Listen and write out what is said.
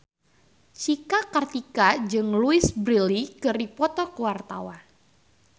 Cika Kartika jeung Louise Brealey keur dipoto ku wartawan